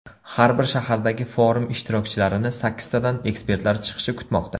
Har bir shahardagi forum ishtirokchilarini sakkiztadan ekspertlar chiqishi kutmoqda.